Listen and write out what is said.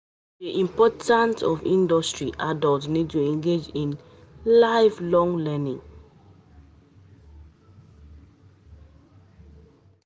To dey imprtant for industry, adult need to engage in life long learning